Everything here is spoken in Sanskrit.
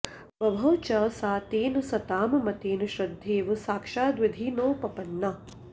बभौ च सा तेन सतां मतेन श्रद्धेव साक्षाद्विधिनोपपन्ना